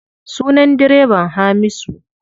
Sunan direban Hamisu.